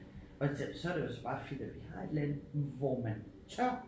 Og så det jo så bare fedt at vi har et land hvor man tør